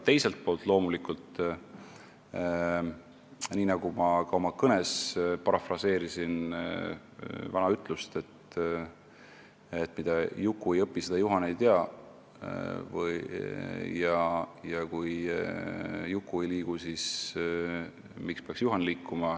Teiselt poolt on loomulikult nii, nagu ma ka oma kõnes vana ütlust parafraseerisin, et mida Juku ei õpi, seda Juhan ei tea ja kui Juku ei liigu, siis miks peaks Juhan liikuma.